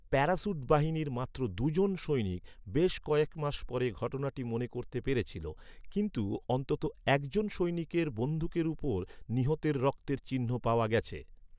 প্যারাশুটবাহিনীর মাত্র দু'জন সৈনিক বেশ কয়েক মাস পরে ঘটনাটি মনে করতে পেরেছিল, কিন্তু অন্ততঃ একজন সৈনিকের বন্দুকের উপর নিহতের রক্তের চিহ্ন পাওয়া গেছে।